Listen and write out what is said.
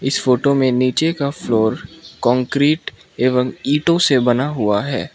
इस फोटो मे नीचे का फ्लोर कांक्रीट एवम ईंटों से बना हुआ है।